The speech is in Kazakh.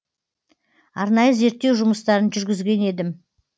арнайы зерттеу жұмыстарын жүргізген едім